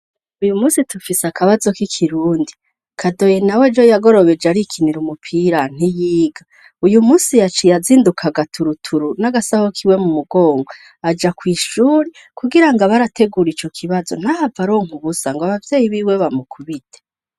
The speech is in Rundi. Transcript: Uyu munsi tufise akabazo k'ikirundi. kadoyi nawe ejo yagorobeje arikinira umupira nt'iyiga. Uyu munsi yaciye azindukaga gaturuturu n'agasabo kiwe mu mugongo, aja ku ishuri kugira ngo abarategura ico kibazo ntahava aronka ubusa ngo abavyeyi biwe bamukubite.